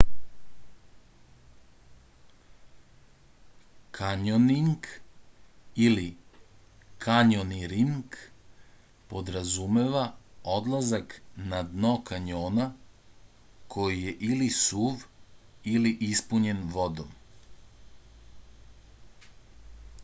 кањонинг или: кањониринг подразумева одлазак на дно кањона који је или сув или испуњен водом